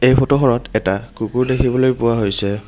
এই ফটো খনত এটা কুকুৰ দেখিবলৈ পোৱা হৈছে।